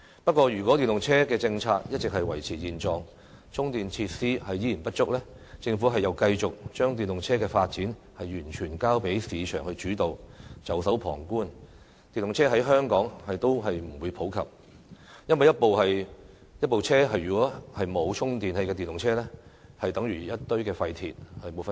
不過，如果電動車的政策一直維持現狀，充電設施依然不足，政府又繼續把電動車的發展完全交給市場主導，袖手旁觀，電動車在香港也不會普及，因為一部無法充電的電動車與一堆廢鐵沒有分別。